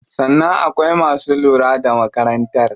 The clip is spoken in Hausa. Sannan akwai masu lura da makarantar.